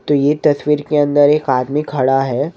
तो ये तस्वीर के अंदर एक आदमी खड़ा हैं।